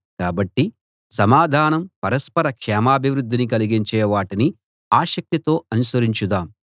కాబట్టి సమాధానం పరస్పర క్షేమాభివృద్ధిని కలిగించే వాటిని ఆసక్తితో అనుసరించుదాం